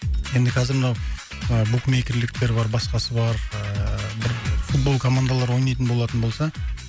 енді қазір мынау ы букмейкерліктер бар басқасы бар ыыы бір футбол командалары ойнайтын болатын болса